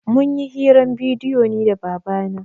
Mun yi hirar bidiyo ni da baba na